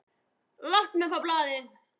Láttu mig fá blaðið!